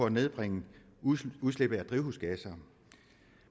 at nedbringe udslippet udslippet af drivhusgasser